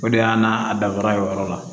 O de y'a n'a dafara o yɔrɔ la